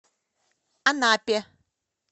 анапе